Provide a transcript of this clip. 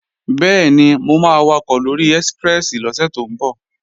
Bẹ́ẹ̀ni, mo máa wakọ̀ lóri ẹ́síprẹ́sì lọ́sẹ̀ tó ń bọ̀